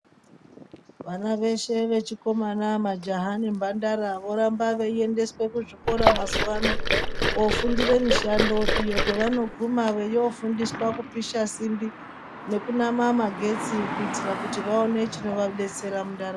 Vana veshe vechikomana majaha nemhandara voramba veiendeswa kuzvikora mazuvaano kofundire mishando iyo kwavanoguma veifundiswa kupisha simbi nekunama magetsi kuti vaone chinovabetsera mundaramo .